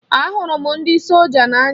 A hụrụ m ndị solja n'anya.